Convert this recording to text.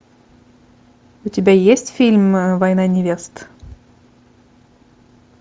у тебя есть фильм война невест